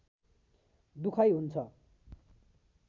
दुखाइ हुन्छ